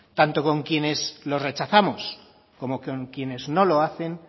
tanto con quienes lo rechazamos como con quienes no lo hacen